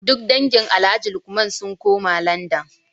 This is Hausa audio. Duk dangin Alhaji Lukman sun koma Landan